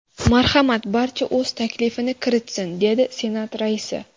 Marhamat, barcha o‘z taklifini kiritsin”, – dedi Senat raisi.